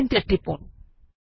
enter টিপুন